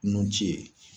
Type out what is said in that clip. Nun ci ye